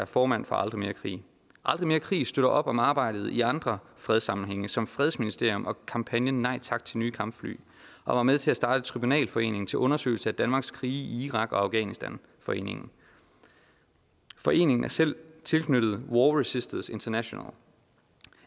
formand for aldrig mere krig aldrig mere krig støtter op om arbejdet i andre fredssammenhænge som fredsministerium og kampagnen nej tak til nye kampfly og var med til at starte tribunalforeningen til undersøgelse af danmarks krige i irak og afghanistan foreningen foreningen er selv tilknyttet war resisters international